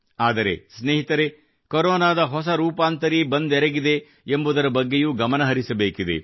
ಆದರೆ ಸ್ನೇಹಿತರೆ ಕೊರೊನಾದ ಹೊಸ ರೂಪಾಂತರಿ ಬಂದೆರಗಿದೆ ಎಂಬುದರ ಬಗ್ಗೆಯೂ ಗಮನಹರಿಸಬೇಕಿದೆ